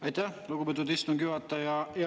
Aitäh, lugupeetud istungi juhataja!